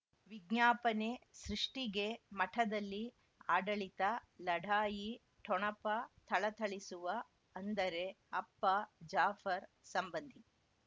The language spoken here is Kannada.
ವಿಜ್ಞಾಪನೆ ಸೃಷ್ಟಿಗೆ ಮಠದಲ್ಲಿ ಆಡಳಿತ ಲಢಾಯಿ ಠೊಣಪ ಥಳಥಳಿಸುವ ಅಂದರೆ ಅಪ್ಪ ಜಾಫರ್ ಸಂಬಂಧಿ